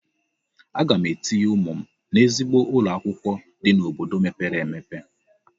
Aga m etinye ụmụ m n'ezigbo ụlọ akwụkwọ dị n'obodo mepere emepe.